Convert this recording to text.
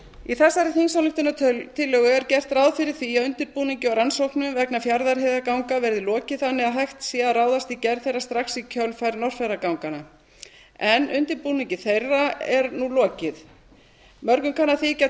í þessari þingsályktunartillögu er gert ráð fyrir því að undirbúningi og rannsóknum vegna fjarðarheiðarganga verði lokið þannig að hægt sé að ráðast í gerð þeirra strax í kjölfar norðfjarðarganganna en undirbúningi þeirra er nú lokið mörgum kann að þykja